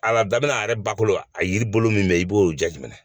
A la daminɛ a yɛrɛ bakolo a yiri bolo min bɛ yen i b'o jateminɛ